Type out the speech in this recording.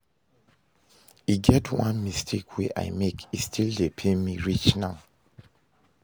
E get one mistake wey I make, e still dey pain me reach now